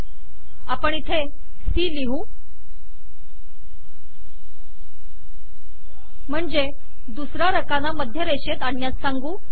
आता आपण इथे सी लिहू म्हणजे दुसरा रकाना मध्य रेषेत आणण्यास सांगू